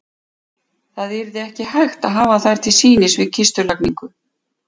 Það yrði ekki hægt að hafa þær til sýnis við kistulagningu.